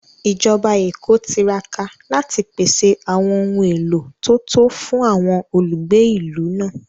Ìjọba Èkó tiraka láti pèsè àwọn ohun èlò tó tó fún àwọn olùgbé ìlú náà